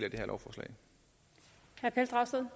er